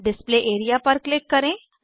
display area पर click करें